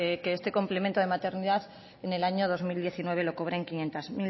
que este complemento de maternidad en el año dos mil diecinueve lo cobren quinientos